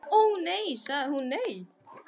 Ó, nei sagði hún, nei.